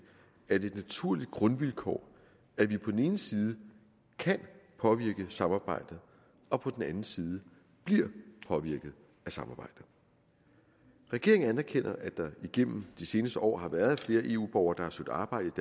er det et naturligt grundvilkår at vi på den ene side kan påvirke samarbejdet og på den anden side bliver påvirket af samarbejdet regeringen anerkender at der igennem de seneste år har været flere eu borgere der har søgt arbejde